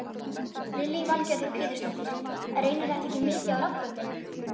Lillý Valgerður Pétursdóttir: Reynir þetta ekki mikið á raddböndin?